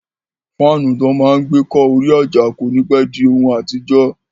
Fáànù tó máa n gbé kọ́ orí àjà kò ní pẹ́ di ohun àtijọ́